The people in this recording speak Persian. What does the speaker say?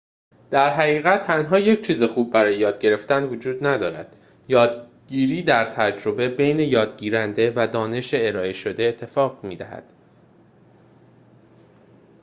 در حقیقت تنها یک چیز خوب برای یاد گرفتن وجود ندارد یادگیری در تجربه بین یادگیرنده و دانش ارائه شده اتفاق می‌دهد